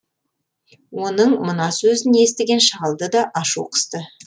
оның мына сөзін естіген шалды да ашу қысты